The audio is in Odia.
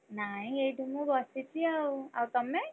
ନାଇଁ ଏଇଠି ମୁଁ ବସିଛି ଆଉ, ଆଉ ତମେ?